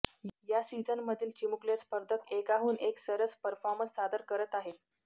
या सिझनमधील चिमुकले स्पर्धक एकाहून एक सरस परफॉर्मन्स सादर करत आहेत